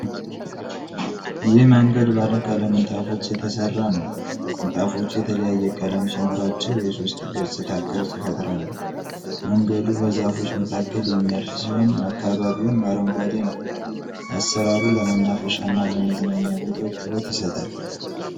ይህ መንገድ ባለቀለም ንጣፎች የተሰራ ነው። ንጣፎቹ የተለያየ ቀለም ሲኖራቸው የሶስት ገጽታ ቅርፅ ይፈጥራሉ። መንገዱ በዛፎች መካከል የሚያልፍ ሲሆን አካባቢውም አረንጓዴ ነው። አሰራሩ ለመናፈሻና ለመዝናኛ ቦታዎች ውበት ይሰጣል።